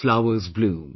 Flowers bloom